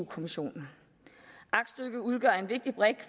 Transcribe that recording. kommissionen aktstykket udgør en vigtig brik i